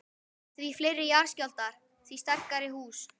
Því fleiri jarðskjálftar, því sterkari hús.